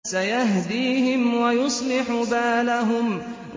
سَيَهْدِيهِمْ وَيُصْلِحُ بَالَهُمْ